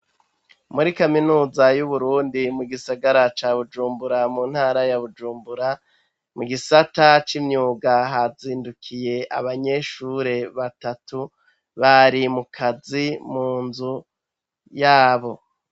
Muri kaminuza y'Uburundi mu gisagara ca Bujumbura mu ntara ya Bujumbura, mu gisata c'imyuga hazindukiye abanyeshure batatu, bari mukazi mu nzu yabo.